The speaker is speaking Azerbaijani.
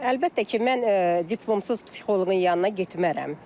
Əlbəttə ki, mən diplomsuz psixoloqun yanına getmərəm.